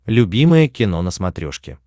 любимое кино на смотрешке